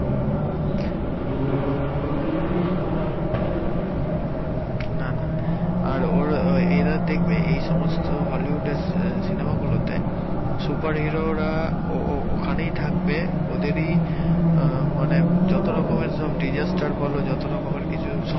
না না আর এরা দেখবে এই সমস্ত হলিউডের সিনেমা গুলোতে সুপার হিরোরা ও ওখানেই থাকবে ওদেরই মানে যত রকমের সব disaster বল যত রকমের কিছু সমস্যা